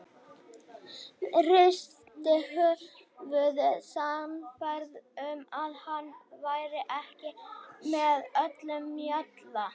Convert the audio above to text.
Hristi höfuðið, sannfærð um að hann væri ekki með öllum mjalla.